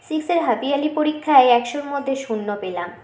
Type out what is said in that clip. six -এর half yearly পরিক্ষায় একশোর মধ্যে শূন্য পেলাম